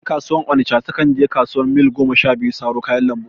Ƴan kasuwar onisha su kan je kasuwar Mil goma sha biyu saro kayan lambu